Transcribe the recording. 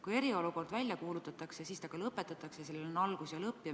Kui eriolukord välja kuulutatakse, siis kunagi see ka lõpetatakse, sellel on algus ja lõpp.